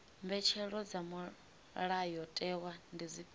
mbetshelo dza mulayotewa ndi dzifhio